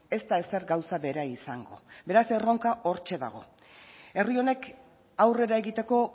ez da ezer gauza bera izango beraz erronka hortxe dago herri honek aurrera egiteko